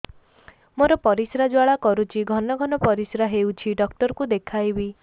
ମୋର ପରିଶ୍ରା ଜ୍ୱାଳା କରୁଛି ଘନ ଘନ ପରିଶ୍ରା ହେଉଛି ଡକ୍ଟର କୁ ଦେଖାଇବି